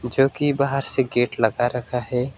जो कि बाहर से गेट लगा रहता है।